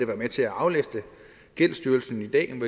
være med til at aflaste gældsstyrelsen i dag